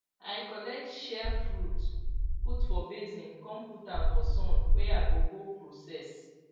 i collect shea fruit put for basin con put am for sun wey i go go process